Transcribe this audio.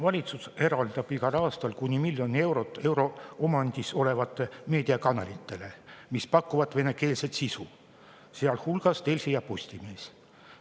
Valitsus eraldab igal aastal kuni miljon eurot eraomandis olevatele meediakanalitele, mis pakuvad venekeelset sisu, sealhulgas Delfi ja Postimees.